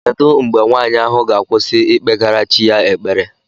Kedu mgbe nwanyị ahụ ga-akwụsị ikpegara chi ya ekpere?